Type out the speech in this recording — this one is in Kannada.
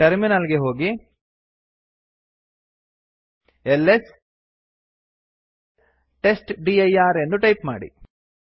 ಟರ್ಮಿನಲ್ ಗೆ ಹೋಗಿ ಎಲ್ಎಸ್ ಟೆಸ್ಟ್ಡಿರ್ ಎಂದು ಟೈಪ್ ಮಾಡಿ